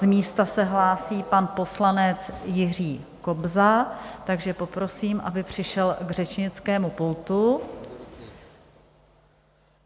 Z místa se hlásí pan poslanec Jiří Kobza, takže poprosím, aby přišel k řečnickému pultu.